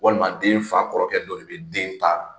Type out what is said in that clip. Walima den fa kɔrɔkɛ dɔ bɛ den